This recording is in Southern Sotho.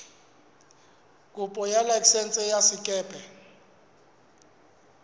kopo ya laesense ya sekepe